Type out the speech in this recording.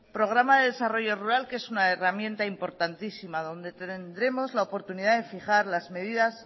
programa de desarrollo rural que es una herramienta importantísima donde tendremos la oportunidad de fijar las medidas